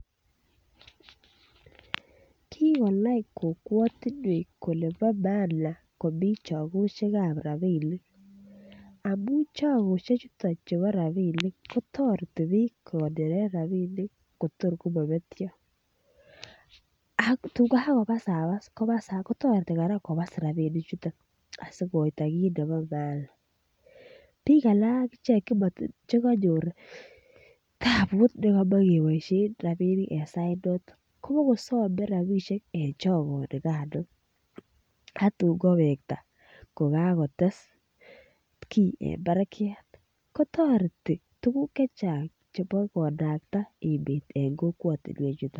Ki konai kokwatinwek kole bo maana komi chagosyek ab rabinik amun Chagosyek ab rabinik kotoreti bik kogonoren rabinik kotor komobetyo ak ye kagobasabas kotoreti kora kobas rabinichato asi koitaa kit nebo maana bik alak agichek Che kanyor taput nekomoche keboisien rabisiek en sainaton kobo kosome rabisiek en chogoni kano ak tun kowekta koka kotes kii en barakyat kotoreti tuguk Che Chang chebo emet en kokwatinwek chuton